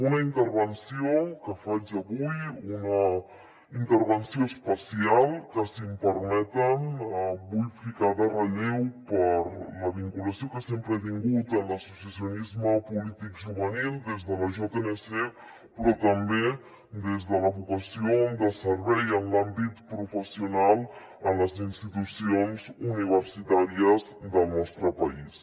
una intervenció que faig avui una intervenció especial que si m’ho permeten vull ficar en relleu per la vinculació que sempre he tingut amb l’associacionisme polític juvenil des de la jnc però també des de la vocació de servei en l’àmbit professional en les institucions universitàries del nostre país